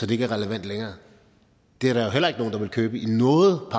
det ikke er relevant længere det er der jo heller ikke nogen der vil købe i noget